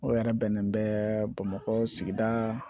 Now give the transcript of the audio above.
O yɛrɛ bɛnnen bɛ bamakɔ sigida